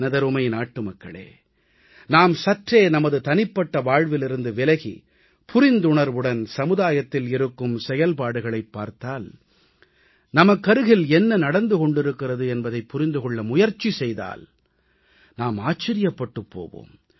எனதருமை நாட்டுமக்களே நாம் சற்றே நமது தனிப்பட்ட வாழ்விலிருந்து விலகி புர்ந்துணர்வுடன் சமுதாயத்தில் இருக்கும் செயல்பாடுகளைப் பார்த்தால் நமக்கருகில் என்ன நடந்து கொண்டிருக்கிறது என்பதைப் புரிந்து கொள்ள முயற்சி செய்தால் நாம் ஆச்சரியப்பட்டுப் போவோம்